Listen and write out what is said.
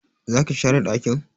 Zaki share dakin?